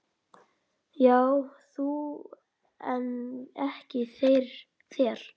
Já þú en ekki þér!